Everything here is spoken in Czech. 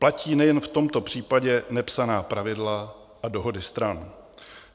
Platí nejen v tomto případě nepsaná pravidla a dohody stran.